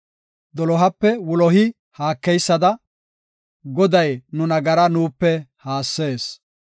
Dolohape wulohi haakeysada, Goday nu nagara nuupe haassees.